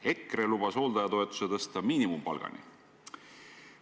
EKRE lubas hooldajatoetuse tõsta miinimumpalgani.